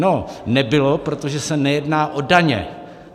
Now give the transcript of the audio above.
No, nebylo, protože se nejedná o daně.